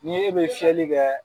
N'i e bɛ fiyɛli kɛ